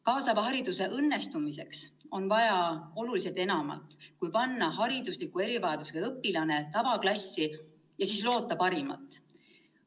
Kaasava hariduse õnnestumiseks on vaja oluliselt enamat, kui panna haridusliku erivajadusega õpilane tavaklassi ja siis loota parimat.